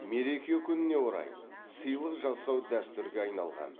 мереке күніне орай сыйлық жасау дәстүрге айналған